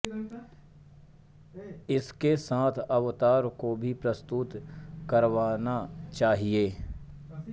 उसके साथ अवतार को भी प्रस्तुत करवाना चाहिए